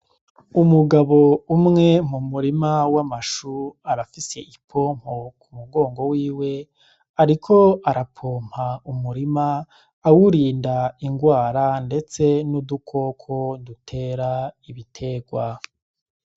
Umugabo umwe mu murima w'amashu arafise ipompo ku mugongo wiwe, ariko arapompa umurima awurinda ingwara, ndetse n'udukoko dutera ibiterwa.